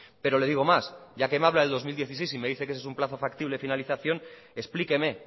pero le digo más ya que me habla del dos mil dieciséis y me dice que ese es un plazo factible de finalización explíqueme